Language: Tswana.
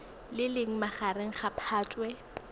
le leng magareng ga phatwe